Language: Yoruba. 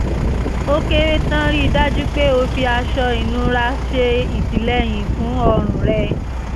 ó kéré tán rí i dájú pé o fi aṣọ ìnura ṣe ìtìlẹ́yìn fún ọrùn rẹ̀